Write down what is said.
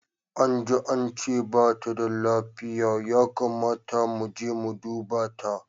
Anji ance bata da lafiya, ya kamata muje mu duba ta.